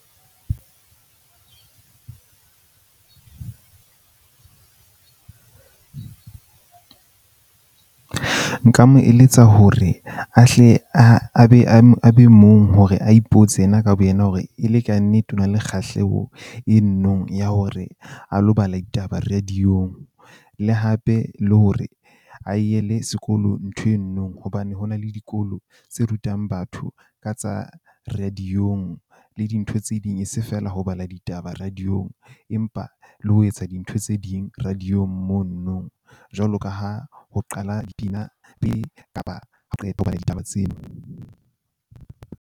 Nka mo eletsa hore a hle a, a be mong hore a ipotse yena ka bo yena hore e le kannete, o na le kgahleho e no nong ya hore a lo bala ditaba radio-ng. Le hape le hore a e yele sekolo ntho eno hobane, ho na le dikolo tse rutang batho ka tsa radio-ng le dintho tse ding. E se feela ho bala ditaba radio-ng empa le ho etsa dintho tse ding radio mono nong jwalo ka ha ho qala ho bala ditaba tseo.